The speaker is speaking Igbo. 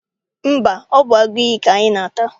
Mba, ọ bụ agụiyi ka anyị na-ata.